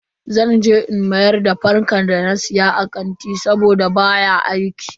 Zan mayar da fankar da na siya a kanti saboda baya aiki.